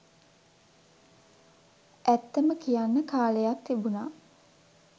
ඇත්තම කියන්න කාලයක් තිබුණා